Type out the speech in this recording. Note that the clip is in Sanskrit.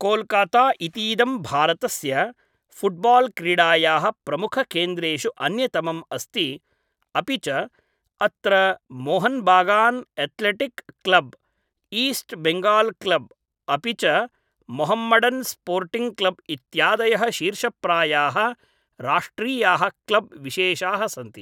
कोलकाता इतीदं भारतस्य फुट् बाल् क्रीडायाः प्रमुखकेन्द्रेषु अन्यतमम् अस्ति अपि च अत्र Mohun Bagan athletic club, east Bengal club अपि च मोहम्मडन् स्पोर्टिङ्ग् क्लब् इत्यादयः शीर्षप्रायाः राष्ट्रीयाः क्लब् विशेषाः सन्ति।